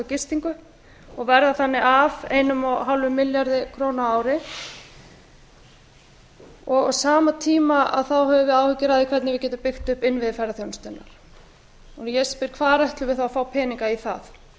gistingu og verða þannig af einum og hálfum milljarði króna á ári á sama tíma höfum við áhyggjur af því hvernig við getum byggt upp innviði ferðaþjónustunnar ég spyr hvar ætlum við þá að fá peninga í það einhverjir